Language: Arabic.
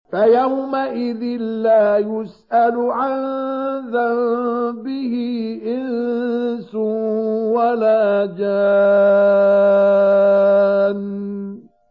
فَيَوْمَئِذٍ لَّا يُسْأَلُ عَن ذَنبِهِ إِنسٌ وَلَا جَانٌّ